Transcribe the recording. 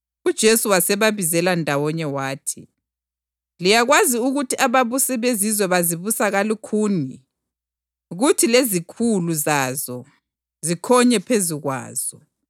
UJesu wasebabizela ndawonye wathi, “Liyakwazi ukuthi ababusi beZizwe bazibusa kalukhuni, kuthi lezikhulu zazo zikhonye phezu kwazo.